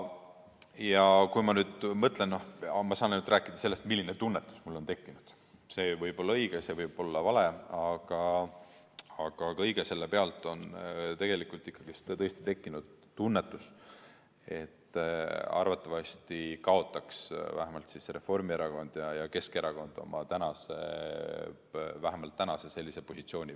Ja kui ma nüüd mõtlen – ma saan rääkida ainult sellest, milline tunnetus mul on tekkinud, see võib olla õige, see võib olla vale –, aga kõige selle pealt on tegelikult tõesti tekkinud tunnetus, et arvatavasti kaotaks vähemalt Reformierakond ja Keskerakond oma tänase positsiooni.